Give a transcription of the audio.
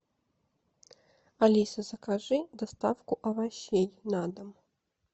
алиса закажи доставку овощей на дом